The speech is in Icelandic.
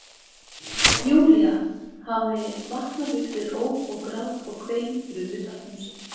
Júlía hafði vaknað upp við óp og grát og kvein fyrir utan húsið.